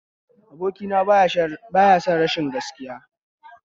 Abokina baya son rashin gaskiya